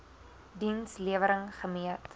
diens lewering gemeet